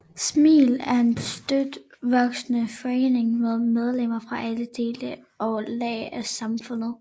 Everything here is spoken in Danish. SMil er en støt voksende forening med medlemmer fra alle dele og lag af samfundet